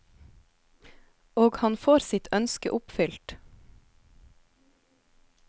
Og han får sitt ønske oppfylt.